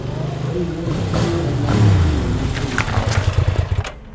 tolikioki siyie enaa ketii ilomon lina habari